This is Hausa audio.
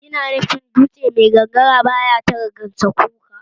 Yana nufin dutse mai gangara baya tara gansakuka